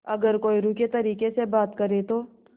अगर कोई रूखे तरीके से बात करे तो